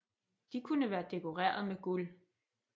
De kunne være dekoreret med guld